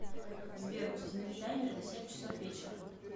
сбер установи таймер на семь часов вечера